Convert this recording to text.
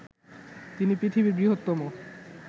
তিনি পৃথিবীর বৃহত্তম